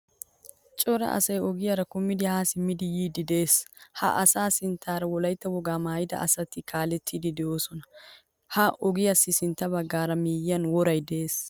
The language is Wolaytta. Cora asay ogiyara kumidi ha simmidi yiidi de'ees. Ha asa sinttaara wolaytta woga maayida asati kaalettidi deosona. Ha ogiyasi sintta baggaara miyiyan woray de'ees.